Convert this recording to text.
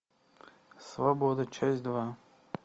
свобода часть два